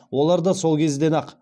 олар да сол кезден ақ